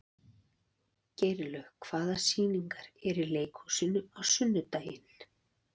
Geirlaug, hvaða sýningar eru í leikhúsinu á sunnudaginn?